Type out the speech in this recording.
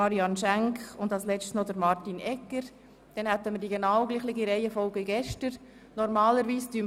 Die Grünen und die FDP haben wir nach dem Kommissionssprecher der GPK bereits gehört.